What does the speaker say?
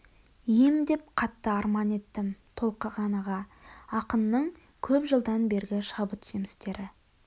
ем деп қатты арман еттім толқыған аға ақынның көп жылдан бергі шабыт жемістері